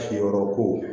Siyɔrɔ ko